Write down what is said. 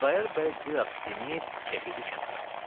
Xudayar bəy bir az sinib çəkildi kənara.